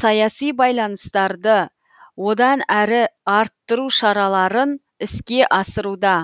саяси байланыстарды одан әрі арттыру шараларын іске асыруда